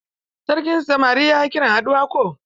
Sarkin samari ya kira haduwa ko?